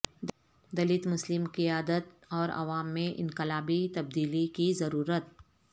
دلت مسلم قیادت اور عوام میں انقلابی تبدیلی کی ضرورت